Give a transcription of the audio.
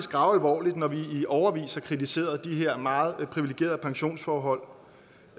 gravalvorligt når vi i årevis har kritiseret de her meget privilegerede pensionsforhold